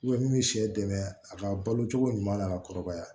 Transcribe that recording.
min bɛ sɛ dɛmɛ a ka balo cogo ɲuman na a ka kɔrɔbaya